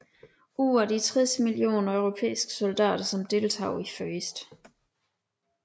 Ud af de 60 millioner europæiske soldater som deltog i 1